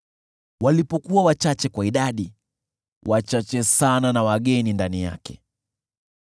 Walipokuwa wachache kwa idadi, wachache sana na wageni ndani yake,